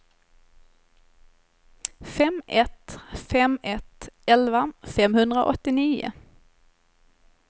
fem ett fem ett elva femhundraåttionio